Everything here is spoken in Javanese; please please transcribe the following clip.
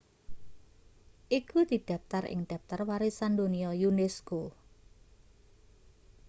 iku didaptar ing daptar warisan donya unesco